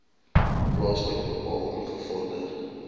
plaaslik bepaal ingevorder